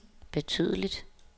betydeligt